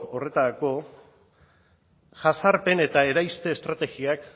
horretarako jazarpen eta eraiste estrategiak